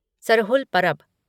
Sarhul Parab